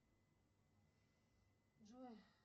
джой